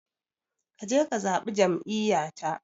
Ka je ka zaɓi jam'iyyata.